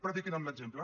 prediquin amb l’exemple